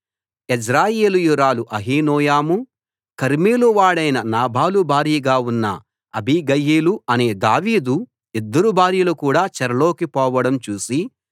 యజ్రెయేలీయురాలు అహీనోయము కర్మెలు వాడైన నాబాలు భార్యగా ఉన్న అబీగయీలు అనే దావీదు ఇద్దరు భార్యలు కూడా చెరలోకి పోవడం చూసి